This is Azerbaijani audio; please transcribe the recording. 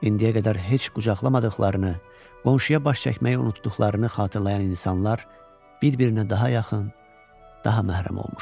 İndiyə qədər heç qucaqlamadıqlarını, qonşuya baş çəkməyi unutduqlarını xatırlayan insanlar bir-birinə daha yaxın, daha məhrəm olmuşdu.